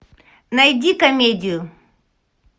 найди комедию